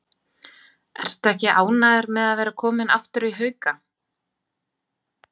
Ertu ekki ánægður með að vera kominn aftur í Hauka?